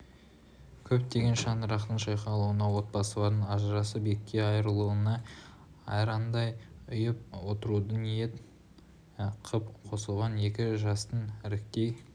көптеген шаңырақтың шайқалуына отбасылардың ажырасып екіге айрылуына айрандай ұйып отыруды ниет қып қосылған екі жастың іркіттей